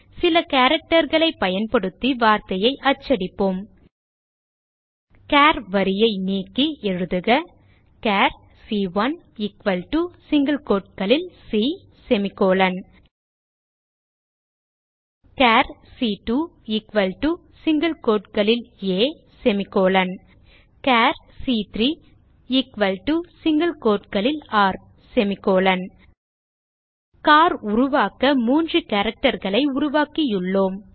சில characterகளைப் பயன்படுத்தி வார்த்தையை அச்சடிப்போம் சார் வரியை நீக்கி எழுதுக சார் சி1 எக்குவல் டோ சிங்கில் quoteகளில் சி சார் சி2 எக்குவல் டோ சிங்கில் quoteகளில் ஆ சார் சி3 எக்குவல் டோ சிங்கில் quotesகளில் ர் சிஏஆர் உருவாக்க 3 characterகளை உருவாக்கியுள்ளோம்